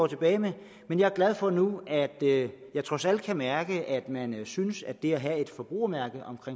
tilbage med men jeg er glad for nu at jeg trods alt kan mærke at man synes at det at have et forbrugermærke